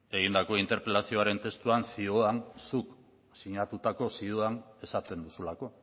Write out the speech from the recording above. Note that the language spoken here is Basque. egindako interpelazioaren testuan zioan zuk sinatutako zioan esaten duzulako